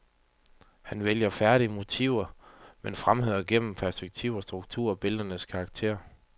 Han vælger færdige motiver, men fremhæver gennem perspektiv og struktur billedernes karakter.